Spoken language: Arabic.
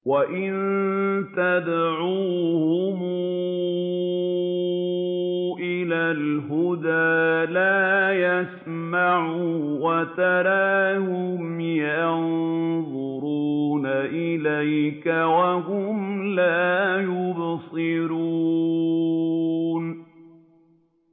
وَإِن تَدْعُوهُمْ إِلَى الْهُدَىٰ لَا يَسْمَعُوا ۖ وَتَرَاهُمْ يَنظُرُونَ إِلَيْكَ وَهُمْ لَا يُبْصِرُونَ